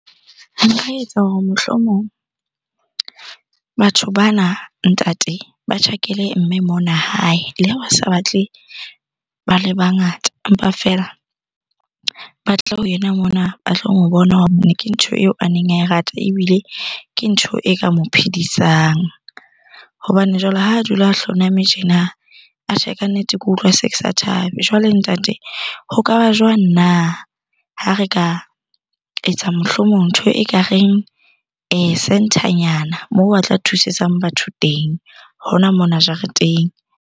Nka etsa hore mohlomong batho bana ntate ba tjhakele mme mona hae. Le ha ba sa ba tle ba le bangata empa feela ba tle ho yena mona ba tlo bona hobane ke ntho eo a neng a e rata, ebile ke ntho e ka mo phedisang. Hobane jwale ha a dula a hloname tjena atjhe kannete, ke utlwa se ke sa thabe. Jwale ntate ho kaba jwang na ha re ka etsa mohlomong ntho ekareng centre nyana moo ba tla thusetsang batho teng hona mona jareteng.